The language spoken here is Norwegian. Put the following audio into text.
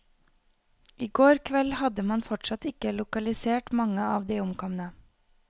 I går kveld hadde man fortsatt ikke lokalisert mange av de omkomne.